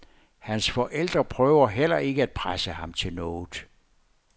Hans forældre prøver heller ikke at presse ham til noget.